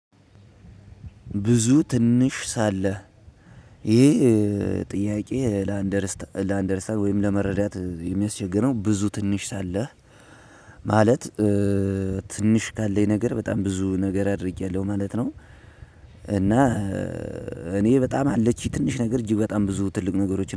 ብዙ ትንሽ ሳለ ይሄ ጥያቄ ላንደርስታር ላንደርስታር ወይም ለመረዳት የሚያስቸግረው ብዙ ትንሽ ሳለህ ማለት ትንሽ ካለኝ ነገር በጣም ብዙ ነገር አድርጌያለሁ ማለት ነው። እና እኔ በጣም አለችኝ ትንሽ ነገር እጅግ በጣም ብዙ ትልቅ ነገሮች